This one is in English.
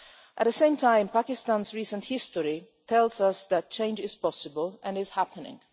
At the same time, Pakistan's recent history tells us that change is possible and is happening.